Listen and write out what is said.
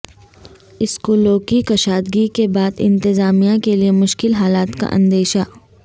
اسکولوں کی کشادگی کے بعد انتظامیہ کیلئے مشکل حالات کا اندیشہ